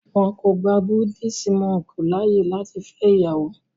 wón kò gbà Buddhist monk láàyè lati fẹ ìyàwó.